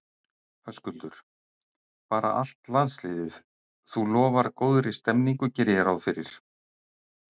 Höskuldur: Bara allt landsliðið, þú lofar góðri stemmningu geri ég ráð fyrir?